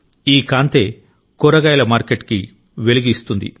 ఈ కాంతే కూరగాయల మార్కెట్కిఊ వెలుగు ఇస్తుంది